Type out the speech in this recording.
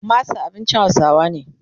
masa abincin hausawa ne